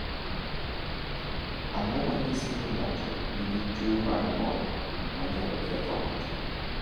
Ang’o ma nyiso ni ng’ato nigi tuwo mar ng’ol ma nyalo ketho ng’ato ?